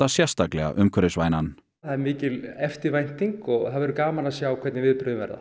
sérstaklega umhverfisvænan er mikil eftirvænting og það verður gaman að sjá hvernig viðbrögðin verða